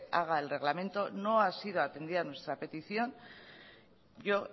haga el reglamento no ha sido atendida nuestra petición y yo